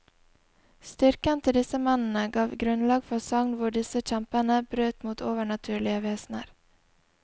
Styrken til disse mennene ga grunnlag for sagn hvor disse kjempene brøt mot overnaturlige vesener.